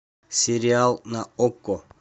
сериал на окко